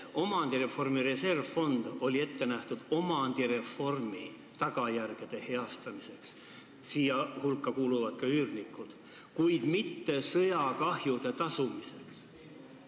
Omandireformi reservfond on olnud ette nähtud omandireformi tagajärgede heastamiseks – nende tagajärgede all on kannatanud ka sundüürnikud –, mitte sõjakahjude hüvitamiseks.